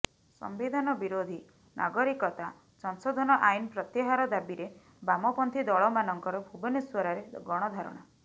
ସମ୍ବିଧାନ ବିରୋଧୀ ନାଗରିକତା ସଂଶୋଧନ ଆଇନ୍ ପ୍ରତ୍ୟାହାର ଦାବିରେ ବାମପନ୍ଥୀ ଦଳମାନଙ୍କର ଭୁବନେଶ୍ୱରରେ ଗଣଧାରଣା